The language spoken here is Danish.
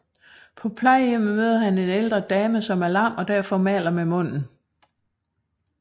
På plejehjemmet møder han en ældre dame som er lam og derfor maler med munden